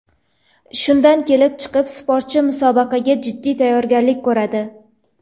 Shundan kelib chiqib, sportchi musobaqaga jiddiy tayyorgarlik ko‘radi.